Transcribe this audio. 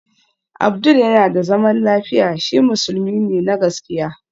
Abdul yana da zaman lafiya, shi musulmi ne na gaskiya